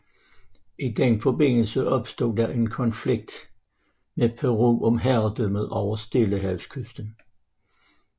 I den forbindelse opstod der en konflikt med Peru om herredømmet over Stillehavskysten